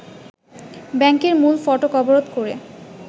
ব্যাংকের মূল ফটক অবরোধ করে